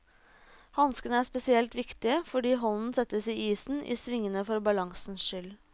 Hanskene er spesielt viktige, fordi hånden settes i isen i svingene for balansens skyld.